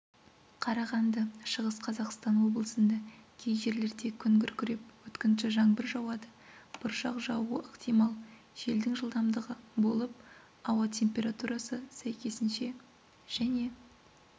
қарағанды шығыс қазақстан облысында кей жерлерде күн күркіреп өткінші жаңбыр жауады бұршақ жаууы ықтимал желдің жылдамдығы болып ауа температурасы сәйкесінше және